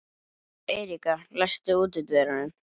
Eiríka, læstu útidyrunum.